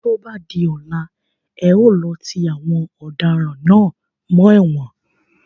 Tó bá di ọ̀la, e ó lọ ti àwọn ọ̀daràn náà mọ́ ẹ̀wọ̀n.